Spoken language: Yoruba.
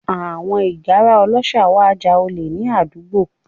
Àwọn ìgárá ọlọ́ṣà wá ja olè ní àdúgbò